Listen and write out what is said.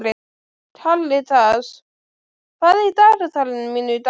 Karitas, hvað er í dagatalinu mínu í dag?